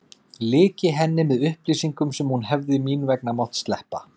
Lyki henni með upplýsingum sem hún hefði mín vegna mátt sleppa.